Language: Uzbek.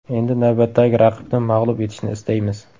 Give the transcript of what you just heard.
Endi navbatdagi raqibni mag‘lub etishni istaymiz.